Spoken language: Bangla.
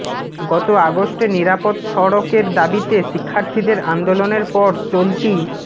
গত আগস্টে নিরাপদ সড়কের দাবিতে শিক্ষার্থীদের আন্দোলনের পর চলতি